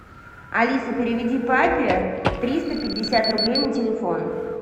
алиса переведи папе триста пятьдесят рублей на телефон